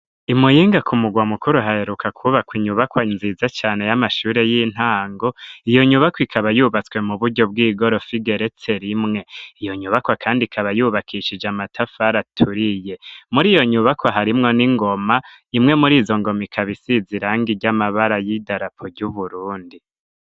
i Muyinga, ku murwa mukuru, haheruka kwubakwa inyubakwa nziza cane, y'amashure y'intango; iyo nyubakwa, ikaba yubatswe mu buryo bw'igorofa, igeretse rimwe; iyo nyubakwa kandi ikaba yubakishije amatafari aturiye; muri iyo nyubakwa, harimwo n'ingoma, imwe muri izo ngoma, ikaba isize irangi ry'amabara y'idarapo ry'Uburundi.